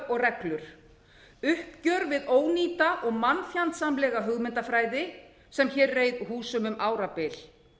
og reglur uppgjör við ónýta og mannfjandsamlega hugmyndafræði sem hér reið húsum um árabil